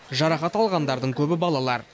жарақат алғандардың көбі балалар